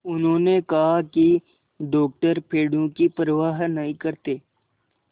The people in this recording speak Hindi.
उन्होंने कहा कि डॉक्टर पेड़ों की परवाह नहीं करते